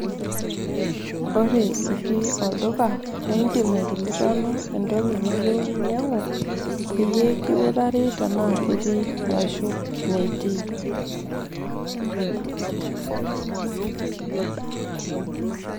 ore itii olduka, idim aikilikuanu entoki niyieu ninyiang'u, peyie kiutari tenaa ketiii arashu metii.